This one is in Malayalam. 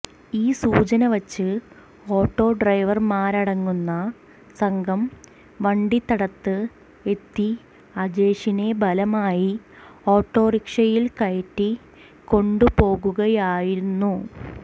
ഈ സൂചനവച്ച് ഓട്ടോ ഡ്രൈവർമാരടങ്ങുന്ന സംഘം വണ്ടിത്തടത്ത് എത്തി അജേഷിനെ ബലമായി ഓട്ടോറിക്ഷയിൽ കയറ്റി കൊണ്ടുപോകുകയായിരുന്നു